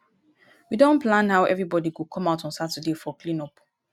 we don plan how everybody go come out on saturday for clean up